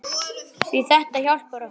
Því þetta hjálpar okkur.